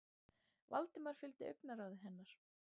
Valdimar fylgdi augnaráði hennar.